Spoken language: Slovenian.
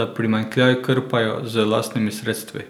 da primanjkljaj krpajo z lastnimi sredstvi.